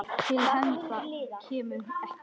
Til hefnda kemur ekki!